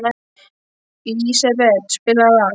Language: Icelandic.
Lísebet, spilaðu lag.